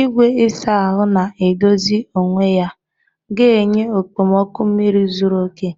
Igwe ịsa ahụ na-edozi onwe ya ga-enye okpomọkụ mmiri zuru oke,